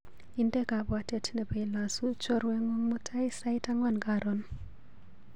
Inde kabwatet nebo ilasu chorweng'ung mutai sait ang'wan karon.